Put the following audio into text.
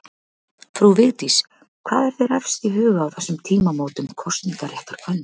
Frú Vigdís, hvað er þér efst í huga á þessum tímamótum kosningaréttar kvenna?